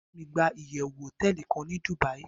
ba mi gba iyewu hoteeli kan ni Dubai